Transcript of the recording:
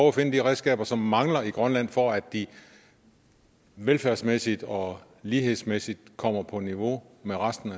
at finde de redskaber som mangler i grønland for at de velfærdsmæssigt og lighedsmæssigt kommer på niveau med resten